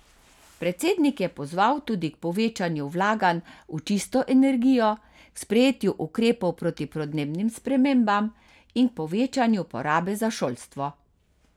Predsednik je pozval tudi k povečanju vlaganj v čisto energijo, k sprejetju ukrepov proti podnebnim spremembam in k povečanju porabe za šolstvo.